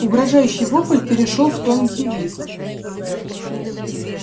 угрожающий вопль перешёл в тонкий визг